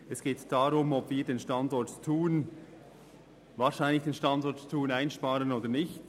Es geht darum, ob wir den Standort Thun wahrscheinlich einsparen oder nicht.